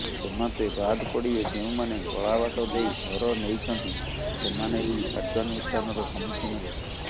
ସେମାତେ ବାଦ୍ ପଡିବେ ଯେଉଁମାନେ ଗଳାବାଟ ଦେଇ ଘର ନେଇଛନ୍ତି ସେମାନେ ବି କାର୍ଯ୍ୟାନୁଷ୍ଠାନର ସମ୍ମୁଖୀନ ହେବେ